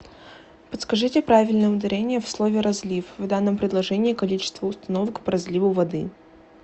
подскажите правильное ударение в слове розлив в данном предложении количество установок по розливу воды